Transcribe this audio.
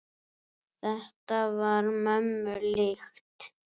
Þetta var mömmu líkt.